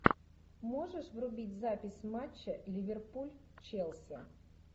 можешь врубить запись матча ливерпуль челси